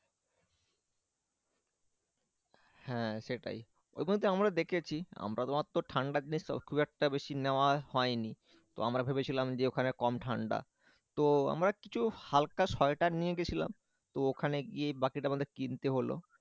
হ্যাঁ সেটাই ওই পর্যন্তয় তো আমরা দেখেছি আমরা মাত্র ঠান্ডার দেশ তো খুব একটা বেশি নেওয়া হয়নি তো আমরা ভেবেছিলাম যে ওখানে কম ঠান্ডা তো আমার কিছু হালকা শয়টার নিয়ে গেছিলাম তো ওখানে গিয়ে বাকিটা কিনতে হলো।